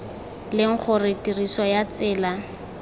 leng gore tiriso ya tsela